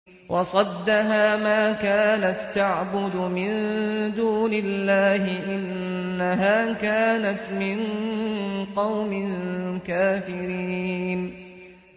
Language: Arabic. وَصَدَّهَا مَا كَانَت تَّعْبُدُ مِن دُونِ اللَّهِ ۖ إِنَّهَا كَانَتْ مِن قَوْمٍ كَافِرِينَ